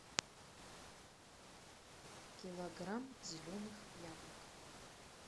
килограмм зеленых яблок